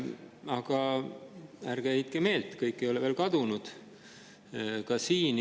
Aga ärge heitke meelt, kõik ei ole veel kadunud!